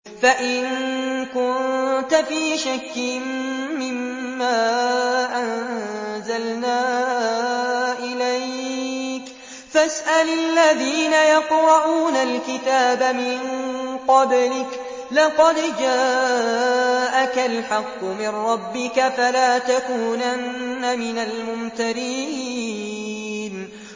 فَإِن كُنتَ فِي شَكٍّ مِّمَّا أَنزَلْنَا إِلَيْكَ فَاسْأَلِ الَّذِينَ يَقْرَءُونَ الْكِتَابَ مِن قَبْلِكَ ۚ لَقَدْ جَاءَكَ الْحَقُّ مِن رَّبِّكَ فَلَا تَكُونَنَّ مِنَ الْمُمْتَرِينَ